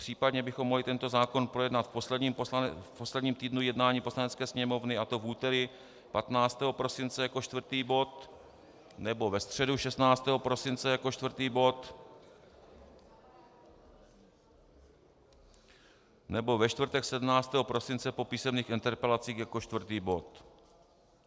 Případně bychom mohli tento zákon projednat v posledním týdnu jednání Poslanecké sněmovny, a to v úterý 15. prosince jako čtvrtý bod, nebo ve středu 16. prosince jako čtvrtý bod, nebo ve čtvrtek 17. prosince po písemných interpelacích jako čtvrtý bod.